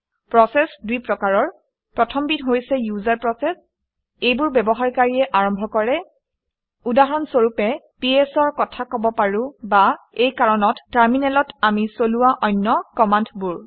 Process দুই প্ৰকাৰৰ। প্ৰথমবিধ হৈছে ইউজাৰ প্ৰচেচ। এইবোৰ ব্যৱহাৰকাৰীয়ে আৰম্ভ কৰে। উদাহৰণ স্বৰূপে ps অৰ কথা কব পাৰো বা এই কাৰণত টাৰমিনেলত আমি চলোৱা অন্য কমাণ্ডবোৰ